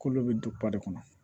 K'olu bɛ don pari kɔnɔ